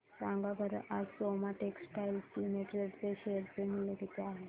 सांगा बरं आज सोमा टेक्सटाइल लिमिटेड चे शेअर चे मूल्य किती आहे